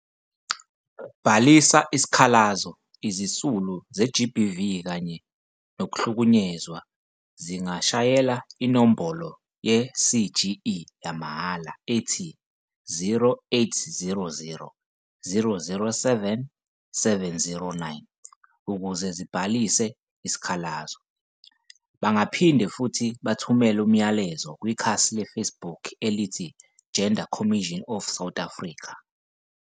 Bhalisa isikhalazoIzisulu ze-GBV kanye nokuhlukunyezwa zingashayela inombolo ye-CGE yamahhala ethi- 0800 007 709 ukuze zibhalise isikhalazo. Bangaphinde futhi bathumele umlayezo kwikhasi leFacebook elithi- Gender Commission of South Africa.